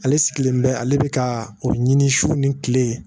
Ale sigilen bɛ ale bɛ ka o ɲini su ni kile